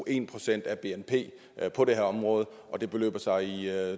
en procent af bnp på det her område og det beløber sig i